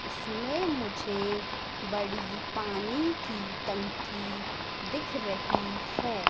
इसमें मुझे बड़ी पानी की टंकी दिख रही है।